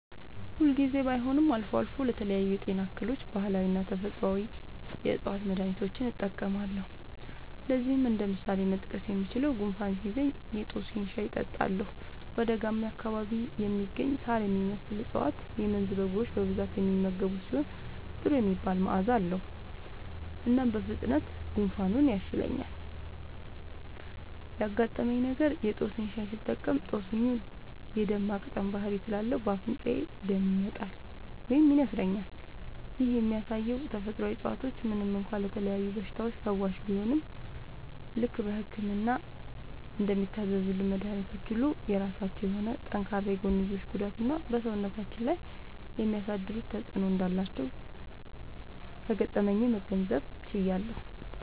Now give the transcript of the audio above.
ሁል ጊዜ ባይሆንም አልፎ አልፎ ለተለያዩ የጤና እክሎች ባህላዊና ተፈጥአዊ የ ዕፅዋት መድሀኒቶችን እጠቀማለሁ። ለዚህም እንደ ምሳሌ መጥቀስ የምችለው፣ ጉንፋን ሲይዘኝ የ ጦስኝ (በደጋማ አካባቢ የሚገኝ ሳር የሚመስል እፀዋት - የመንዝ በጎች በብዛት የሚመገቡት ሲሆን ጥሩ የሚባል መዐዛ አለዉ) ሻይ እጠጣለሁ። እናም በፍጥነት ጉንፋኑ ይሻለኛል። ያጋጠመኝ ነገር:- የ ጦስኝ ሻይ ስጠቀም ጦስኙ ደም የ ማቅጠን ባህሪ ስላለው በ አፍንጫዬ ደም ይመጣል (ይነስረኛል)። ይህም የሚያሳየው ተፈጥሮአዊ እፀዋቶች ምንም እንኳ ለተለያዩ በሽታዎች ፈዋሽ ቢሆኑም፣ ልክ በህክምና እንደሚታዘዙልን መድኃኒቶች ሁሉ የራሳቸው የሆነ ጠንካራ የጎንዮሽ ጉዳትና በ ሰውነታችን ላይ የሚያሳድሩት ተጵዕኖ እንዳላቸው ከገጠመኜ መገንዘብ ችያለሁ።